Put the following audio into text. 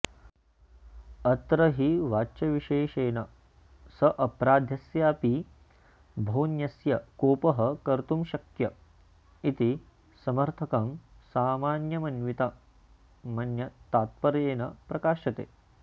अत्र हि वाच्यविशेषेण सापराधस्यापि बहुज्ञस्य कोपः कर्तुमशक्य इति समर्थकं सामान्यमन्वितमन्यत्तात्पर्येण प्रकाशते